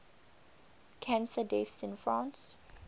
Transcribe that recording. cancer deaths in france